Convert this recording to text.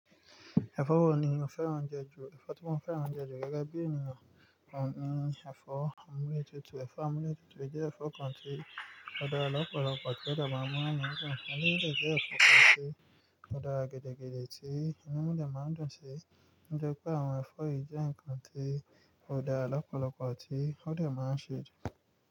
Ẹ̀fọ́ wo ni o fẹ́ràn jù? Ẹ̀fọ́ tí mo fẹ́ràn jù gẹ́gẹ́ bí ènìyàn ni ẹ̀fọ́ àmúlétutù. Ẹ̀fọ́ àmúnututù jẹ́ ẹ̀fọ́ kan tí ó da lọ́pọ̀lọpọ̀ ti o de máa mú inu mi dun. Ẹ̀fọ́ yii de jẹ́ ẹ̀fọ́ kan tí ó dara gidi gidi tí inú mi dẹ maa n dùn sí. O jẹ pé àwọn ẹ̀fọ́ yìí jẹ́ ǹkan tí ó da lọ́pọ̀lọpọ̀ tí ó dẹ máa ń ṣe jù.